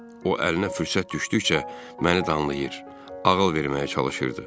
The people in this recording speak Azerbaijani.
O əlinə fürsət düşdükcə məni danlayır, ağıl verməyə çalışırdı.